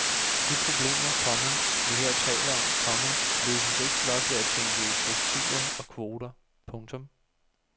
De problemer, komma vi her taler om, komma løses ikke blot ved at tænke i strukturer og kvoter. punktum